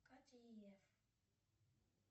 катя и эф